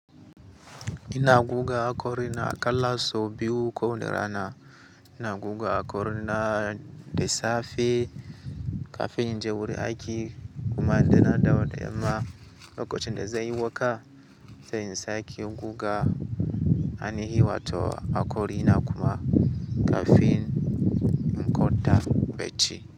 Ina guga akori na aƙalla sau biyu ko wanda rana. Ina goga hakori na da safe kafin in je wurin aiki kuma idan na dawo da yamma. Lokacin da zan yi wanka, sai in sake goga. Anihi wato hakori na kuma kafin in kwanta bacci.